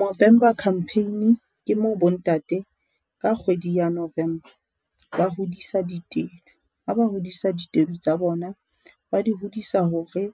Movember campaign ke moo bo ntate ka kgwedi ya November, ba hodisa ditedu, ha ba hodisa ditedu tsa bona ba di hodisa hore